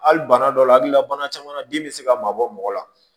Hali bana dɔw la hakili la bana caman na den bɛ se ka mabɔ mɔgɔ la